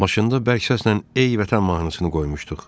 Maşında bərk səslə ey vətən mahnısını qoymuşduq.